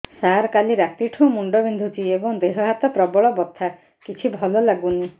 ସାର କାଲି ରାତିଠୁ ମୁଣ୍ଡ ବିନ୍ଧୁଛି ଏବଂ ଦେହ ହାତ ପ୍ରବଳ ବଥା କିଛି ଭଲ ଲାଗୁନି